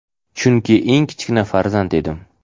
chunki eng kichkina farzand edim.